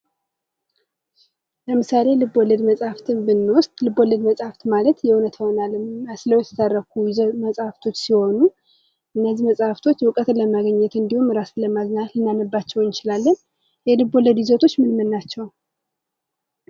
ለምሳሌ ልብወለድ መጽሃፍትን ብንወስድ ልብ ወለድ መጽሃፍት ማለት የእውነታውን አለም መስለው የተተረኩ መጽሃፍቶች ሲሆኑ እነዚህ መጽሃፍቶች እውቀትን ለማግኘት እንዲሁም ራስን ለማዝናናት የምናነባቸው እንችላለን። የልብወለድ ይዘቶች ምን ምን ናቸው?